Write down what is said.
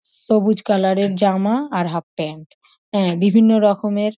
সবুজ কালার -এর জামা আর হাফ প্যান্ট বিভিন্ন রকমের --